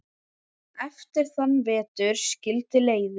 Eftir þann vetur skildi leiðir.